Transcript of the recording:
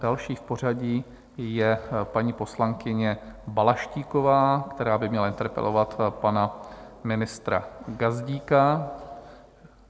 Další v pořadí je paní poslankyně Balaštíková, která by měla interpelovat pana ministra Gazdíka.